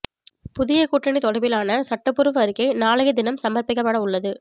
புதிய கூட்டணி தொடர்பிலான சட்டபூர்வ சட்டபூர்வ அறிக்கை நாளைய தினம் சமர்ப்பிக்கப்படவுள்ளது